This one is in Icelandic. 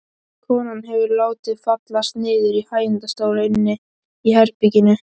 Konan hefur látið fallast niður í hægindastól inni í herberginu.